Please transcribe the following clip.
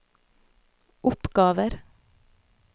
oppgaver